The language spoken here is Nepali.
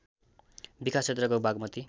विकास क्षेत्रको बागमती